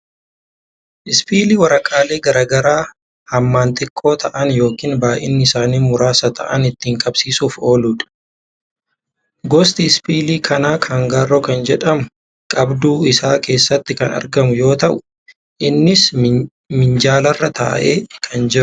Ispiilii waraqaalee garaagaraa hammaan xiqqoo ta'an yookiin bay'inni isaanii muraasa ta'an ittiin qabsiisuuf ooludha. Gosti ispiilii kanaa kaangaaroo kan jedhamu qabduu isaa keessatti kan argamu yoo ta'u, innis minjaalarraa taa'ee kan jirudha.